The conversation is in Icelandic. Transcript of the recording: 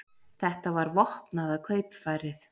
Þetta var vopnaða kaupfarið